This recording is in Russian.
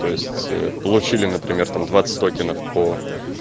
то есть получили например там двадцать токенов по